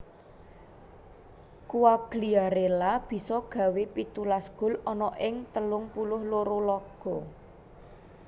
Quagliarella bisa gawé pitulas gol ana ing telung puluh loro laga